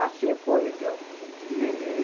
Assim foi, viu? e ele